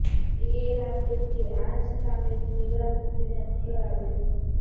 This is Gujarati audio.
એ રાતે તે આ જ સામેની દીવાલ કૂદીને અંદર આવ્યો